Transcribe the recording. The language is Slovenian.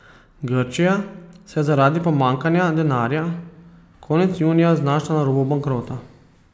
Grčija se je zaradi pomanjkanja denarja konec junija znašla na robu bankrota.